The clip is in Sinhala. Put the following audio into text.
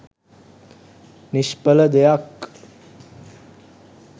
නිශ්ඵල දෙයක්.